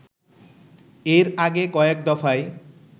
এর আগে কয়েক দফায়